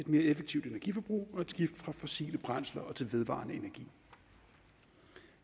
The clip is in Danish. mere effektivt energiforbrug og et skift fra fossile brændsler til vedvarende energi